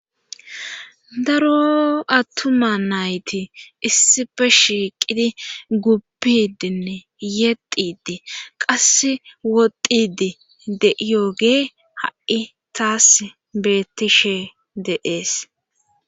daro attuma nayti issife shiiqidi guppidinne yexidi qass wodidi de7iyogee ha7i taas beettishe deees